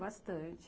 Bastante.